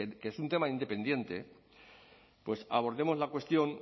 que es un tema independiente pues abordemos la cuestión